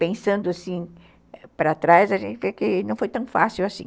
pensando assim para trás, a gente vê que não foi tão fácil assim.